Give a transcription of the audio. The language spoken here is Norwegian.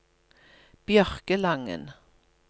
Bjørkelangen